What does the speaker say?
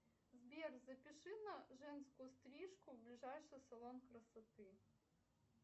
сбер запиши на женскую стрижку в ближайший салон красоты